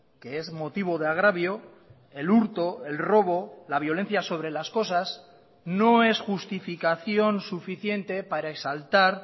que es motivo de agravio el hurto el robo la violencia sobre las cosas no es justificación suficiente para exaltar